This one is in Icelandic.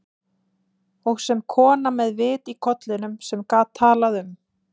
Og sem kona með vit í kollinum, sem get talað um